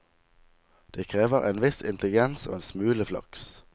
Det krever en viss intelligens og en smule flaks.